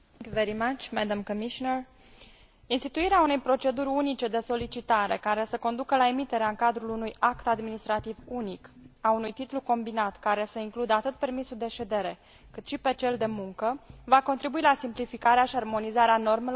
Instituirea unei proceduri unice de solicitare, care să conducă la emiterea în cadrul unui act administrativ unic a unui titlu combinat care să includă atât permisul de ședere cât și pe cel de muncă, va contribui la simplificarea și armonizarea normelor care se aplică în prezent în statele membre.